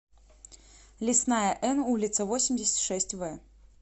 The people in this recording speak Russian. лесная н улица восемьдесят шесть в